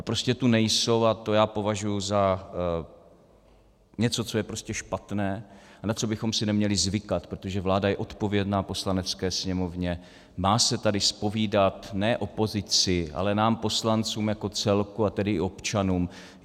A prostě tu nejsou a to já považuji za něco, co je prostě špatné a na co bychom si neměli zvykat, protože vláda je odpovědná Poslanecké sněmovně, má se tady zpovídat ne opozici, ale nám poslancům jako celku, a tedy i občanům.